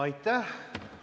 Aitäh!